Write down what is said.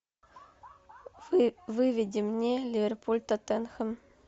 выведи мне ливерпуль тоттенхэм